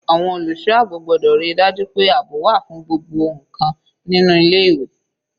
Àwọn olùṣọ́ àbò gbọ́dọ̀ ríi dájú pé àbò wà fún gbogbo ǹkan nínú ilé ìwé.